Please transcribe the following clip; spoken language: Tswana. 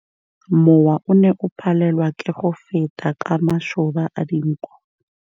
Mowa o ne o palelwa ke go feta ka masoba a dinko.